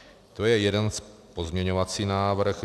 To je jeden pozměňovací návrh.